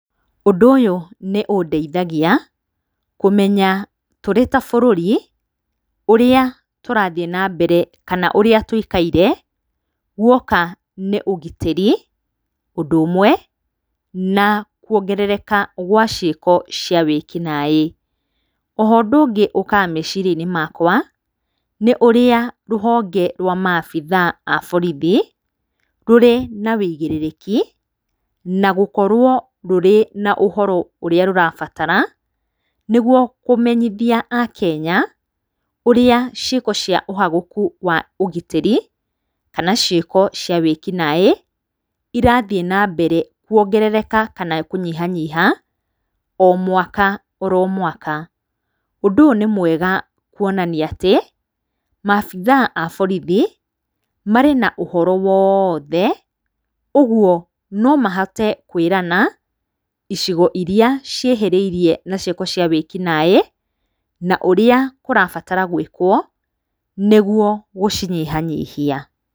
Ũndũ ũyũ nĩ ũndeithagia kũmenya tũrĩ ta bũrũri ũrĩa tũrathiĩ na mbere kana ũrĩa tũikaire guoka nĩ ũgitĩri, ũndũ ũmwe na kuongerereka gwa ciĩko cia wĩkinaĩ. O ho ũndũ ũngĩ ũkaga meciria-inĩ makwa nĩ ũrĩa rũhonge rwa maabithaa a borithi rũrĩ na ũigĩrĩrĩki na gũkorwo rũrĩ na ũhoro ũrĩa rũrabatara, nĩguo kũmenyithia a Kenya ũrĩa ciĩko cia ũhaguku wa ũgitĩri kana ciĩko cia wĩkinaĩ irathiĩ na mbere kuongerereka kana kũnyiha nyiha o mwaka oro mwaka. Ũndũ ũyũ nĩ mwega kuonania atĩ maabitha a borithi marĩ na ũhoro wothe, ũguo no mahote kwĩrana icigo iria ciĩhĩrĩirie na cioko cia wĩkinaĩ na ũrĩa kũrabatara gwĩkwo, nĩguo gũcinyiha nyihia.